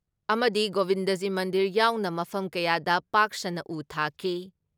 ꯑꯃꯗꯤ ꯒꯣꯕꯤꯟꯗꯖꯤ ꯃꯟꯗꯤꯔ ꯌꯥꯎꯅ ꯃꯐꯝ ꯀꯌꯥꯗ ꯄꯥꯛ ꯁꯟꯅ ꯎ ꯊꯥꯈꯤ ꯫